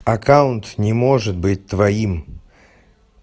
аккаунт не может быть твоим